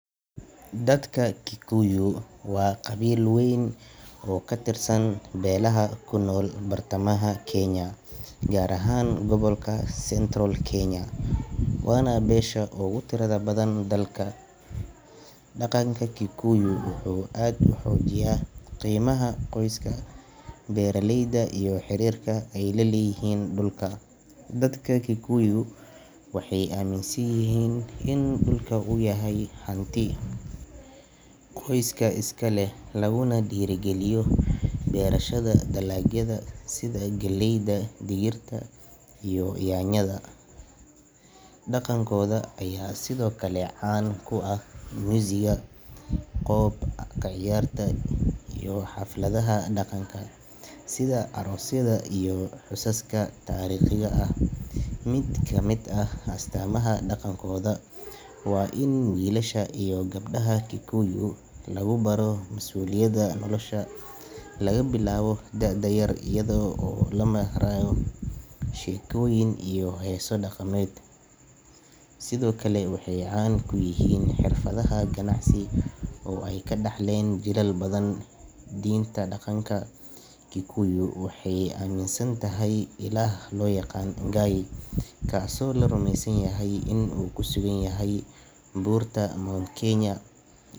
dadka kikuyu waa qabiil weyn oo katirsan belaha kunoolo bartamaha kenya gaar ahaan gobolka Central kenya waana besha ogutirada badan dalka. Daqanka kikuyuy wuxu ad uxoojiya qeymaha qoyska beraleyda iyo xirirka ey laleyihin dulka. Dadka kikuyu waxey aminsanyihin in dulka u yahay xanti qoyska iskaleh laguna dirigaliyo berashada dalaagada sida galeyda digirta iyo yanyada. Daqankoda aya sidoo kale caan kuax muusiga qoob kaciyarta iyo xafladaha daqanka sida aroosyada iyo xusaska tariiqyiga ah. Mid kamid ah astaamda daqankooda waa mid wilasha iyo gebdaha kikuyu lagubaro masuuliyada nolosha labilaabo daada yar iyadoo oo lamahrayo shekoyin iyo heeso daqameed. Sidoo kale waxey caan kuyihiin xirfadaha ganacsi oo ey kadaxleen jilal badan. Diinta daqanka kikuyu waxey aminsanthy ilaah loyaqaano mungai kaaso larumeysanyahy in u kusuganyahy burta Mt. kenya.